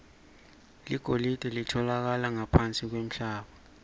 ligolide litfolakala ngaphansi kwemhlaba